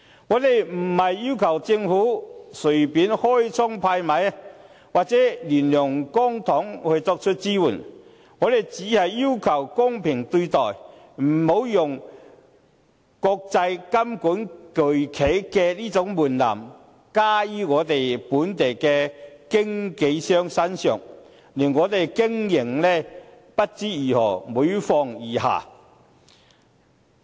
我們不是要求政府隨便開倉派米，或亂用公帑來作出支援；我們只是要求公平對待，不要用規管國際金融巨企的門檻加於我們本地的經紀商身上，令我們不知如何經營，令經營環境每況愈下。